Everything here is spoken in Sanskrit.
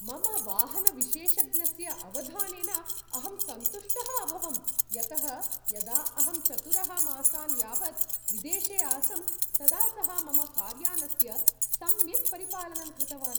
मम वाहनविशेषज्ञस्य अवधानेन अहं सन्तुष्टः अभवं यतः यदा अहं चतुरः मासान् यावत् विदेशे आसं तदा सः मम कार्यानस्य सम्यक् परिपालनं कृतवान्।